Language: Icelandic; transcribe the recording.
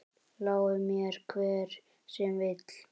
Lái mér, hver sem vill.